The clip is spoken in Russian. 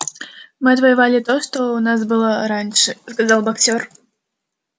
мы отвоевали то что у нас было раньше сказал боксёр